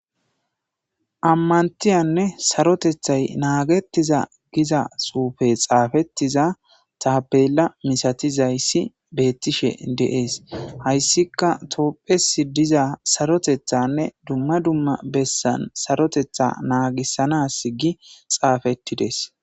Amanitiyane sarotethayi nagiya xuffeyi xafetidda tappela matidayisi bettishe deyesi hayisika tophphesi diza sarotethane duma duma besani sarotetha nagisanasi gi xafetidesi